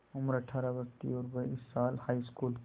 उम्र अठ्ठारह वर्ष थी और वह इस साल हाईस्कूल